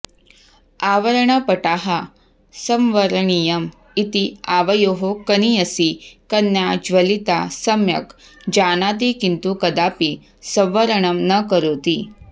आवरणपटाः संवरणीयम् इति आवयोः कनीयसी कन्या ज्वलिता सम्यग् जानाति किन्तु कदापि संवरणं न करोति